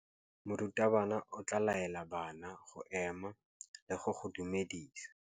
Morutabana o tla laela bana go ema le go go dumedisa.